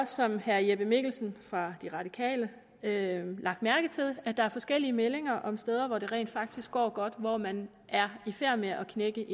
som herre jeppe mikkelsen fra de radikale lagt mærke til at der er forskellige meldinger om steder hvor det rent faktisk går godt og hvor man er i færd med at knække